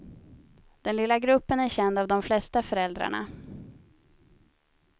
Den lilla gruppen är känd av de flesta föräldrarna.